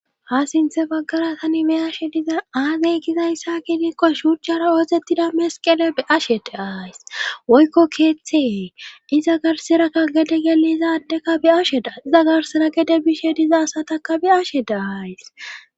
Ha sinthe baggara tani meyashe dizan aazey gizayssa ginikko shurjara oozettida mesqele e ashede aayis woykko keeththee iza garserakka gede gele izadekka bi ashedaa iza garsera gede bishe diza asataka bi ashede aayys.